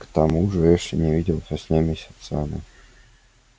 к тому же эшли не виделся с ней месяцами